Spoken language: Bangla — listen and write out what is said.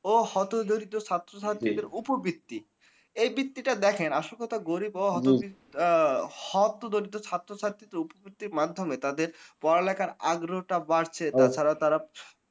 ও হতদরিদ্র ছাত্রছাত্রীদের ওপর ভিত্তি। এই ভিত্তিটা দেখেন আসল কথা গরীব হম ও হতদরিদ্র আ হতদরিদ্র ছাত্রছাত্রী তো প্রত্যেক মাধ্যমে তাদের পড়ালেখার আগ্রহটা বাড়ছে ও তাছাড়া।